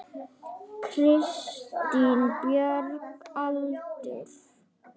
Kristín Björg Aldur?